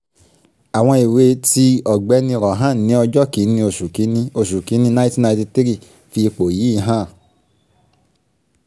àwọn ìwé ti ọ̀gbẹ́ni rohan ní ọjọ́ kìíní oṣù kìíní oṣù kìíní nineteen ninety three fi ipò yìí hàn: